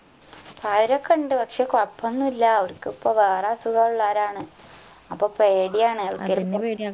പ്രായയവരൊക്കെണ്ട് പക്ഷെ കൊഴൊപ്പൊന്നില്ല അവർക്കിപ്പോ വേറെ അസുഖോള്ളോരാണ് അപ്പൊ പേടിയാണ്